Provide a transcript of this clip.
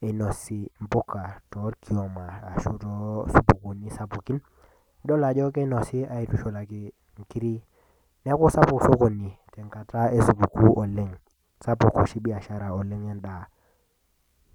inosi mpuka torkioma ashu toosupukuuni sapukin nidol ajo kinosi aitushulaki nkiri neeku sapuk sokoni tenkata esupukuu oleng sapuk oshi biashara endaa.